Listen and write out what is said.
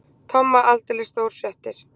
Tomma aldeilis stórfréttir.